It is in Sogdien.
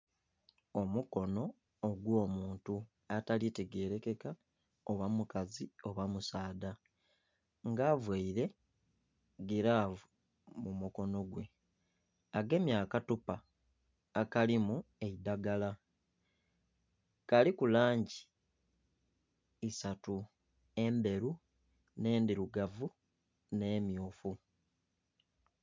Omukono ogw'omuntu atali tegerekeka oba mukazi oba musaadha nga availe gilavu mu mukono gwe, agemye akathupa akalimu eidagala, kaliku langi isatu - endheru, nh'endhirugavu nh'emmyufu